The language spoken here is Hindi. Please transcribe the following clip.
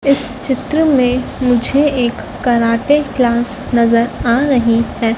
इस चित्र में मुझे एक कराटे क्लास नजर आ रही है।